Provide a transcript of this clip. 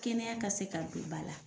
Kɛnɛya ka se ka don ba la.